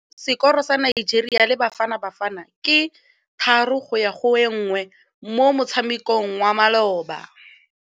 Sekôrô sa Nigeria le Bafanabafana ke 3-1 mo motshamekong wa malôba.